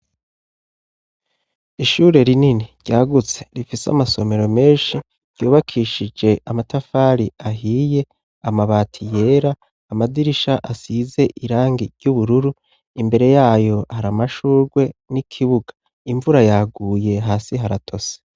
Ishure rinini ryagutse rifise amasomero menshi ryubakishije amatafari ahiye amabati yera amadirisha asize irangi ry'ubururu imbere yayo hari amashurwe n'ikibuga imvura yaguye hasi haratose.